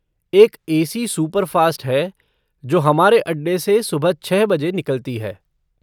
एक A C superfast है जो हमारे अड्डे से सुबह छः बजे निकलती है।